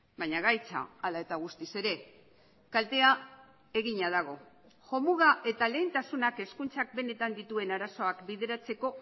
baina gaitza hala eta guztiz ere kaltea egina dago jomuga eta lehentasunak hezkuntzak benetan dituen arazoak bideratzeko